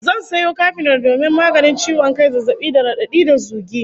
Zan sayo kafinol domin maganin ciwon kai, zazzabi da radadi da zugi